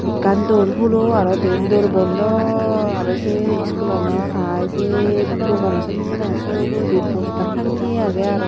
Ekkan door hulo aro deyan door bondo aro se school ano hai se dogano sanne ar se ugurendi poster tange age aro.